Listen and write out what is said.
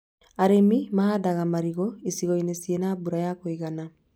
Arĩmi mahandaga marigũ icigo-inĩ ciĩna na mbura ya kũigana